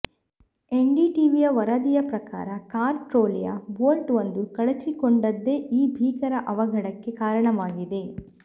NDTV ವರದಿಯ ಪ್ರಕಾರ car ಟ್ರೋಲಿಯ ಬೋಲ್ಟ್ ಒಂದು ಕಳಚಿಕೊಂಡದ್ದೇ ಈ ಭೀಕರ ಅವಘಡಕ್ಕೆ ಕಾರಣವಾಗಿದೆ